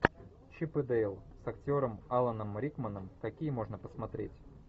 чип и дейл с актером аланом рикманом какие можно посмотреть